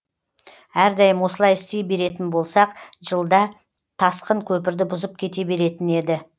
әрдайым осылай істей беретін болсақ жылда тасқын көпірді бұзып кете беретін еді